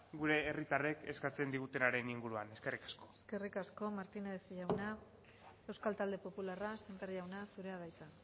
gure herritarrek eskatzen digutenaren inguruan eskerrik asko eskerrik asko martínez jauna euskal talde popularra semper jauna zurea da hitza